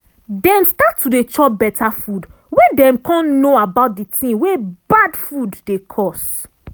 dem start to dey chop better food when dem come know about di ting wey bad food dey cause